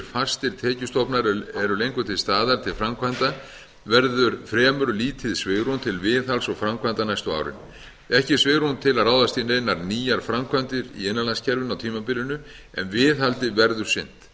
fastir tekjustofnar eru lengur til staðar til framkvæmda verður fremur lítið svigrúm til viðhalds og framkvæmda næstu árin ekki er svigrúm til að ráðast í neinar nýjar framkvæmdir í innanlandskerfinu á tímabilinu en viðhaldi verður sinnt